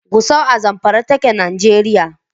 Gusau a Zamfara take a Nijeriya.